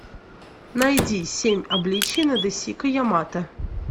найди семь обличий надэсико ямато